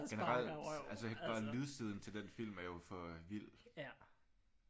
Generelt altså bare lydsiden til den film er jo for vild